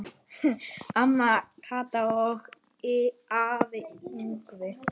Amma Kata og afi Yngvi.